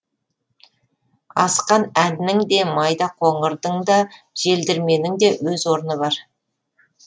асқан әннің де майда қоңырдың да желдірменің де өз орны бар